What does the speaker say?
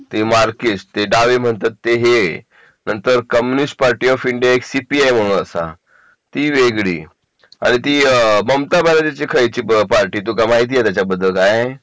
ते Marxist ते डावे म्हणतात ते हे नंतर Communist Party of India C P A म्हणून असा ती वेगळी आणि ती ममता बॅनर्जी ची खयची पार्टी तुका माहिती आहे त्याच्याबद्दल काय